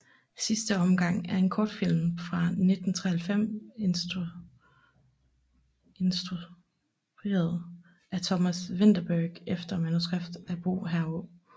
Sidste omgang er en kortfilm fra 1993 instrueret af Thomas Vinterberg efter manuskript af Bo hr